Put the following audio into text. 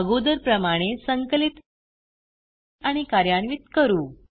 अगोदर प्रमाणे संकलित आणि कार्यान्वित करू